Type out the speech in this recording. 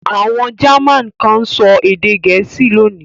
Àwọn German kan ń sọ èdè Gẹ̀ẹ́sì lónìí.